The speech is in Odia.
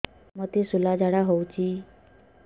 ମୋତେ ଶୂଳା ଝାଡ଼ା ହଉଚି